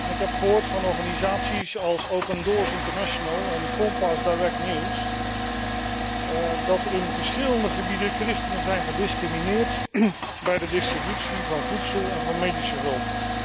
Ik heb gehoord van organisaties als Open Doors International en Compass Direct News dat in verschillende gebieden christenen worden gediscrimineerd bij de distributie van voedsel en medische hulp.